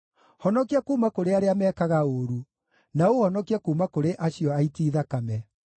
Honokia kuuma kũrĩ arĩa mekaga ũũru, na ũũhonokie kuuma kũrĩ acio aiti thakame.